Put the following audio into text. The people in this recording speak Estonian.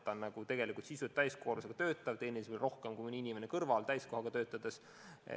Ta raha mõttes nagu töötab täiskoormusega, sest ta teenib rohkem, kui mõni inimene täiskohaga töötades.